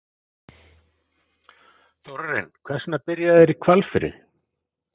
Þórarinn, hvers vegna byrja þeir í Hvalfirði?